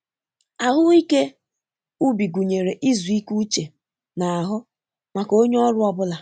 Ahụ́ ike ubi gụnyere izu ike uche na ahụ maka onye ọrụ ọ bụla.